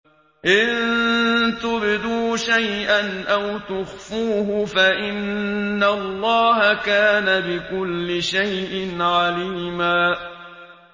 إِن تُبْدُوا شَيْئًا أَوْ تُخْفُوهُ فَإِنَّ اللَّهَ كَانَ بِكُلِّ شَيْءٍ عَلِيمًا